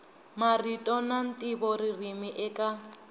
marito na ntivo ririmi eka